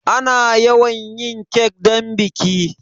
Ana yawan yin kek don biki.